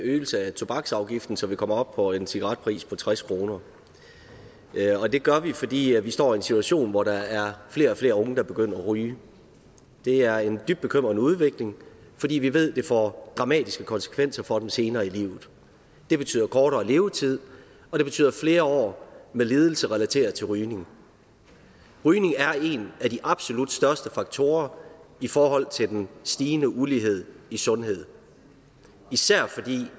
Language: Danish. tobaksafgiften så vi kommer op på en cigaretpris på tres kroner det gør vi fordi vi står i en situation hvor der er flere og flere unge der begynder at ryge det er en dybt bekymrende udvikling fordi vi ved at det får dramatiske konsekvenser for dem senere i livet det betyder kortere levetid og det betyder flere år med lidelser relateret til rygning rygning er en af de absolut største faktorer i forhold til den stigende ulighed i sundhed især fordi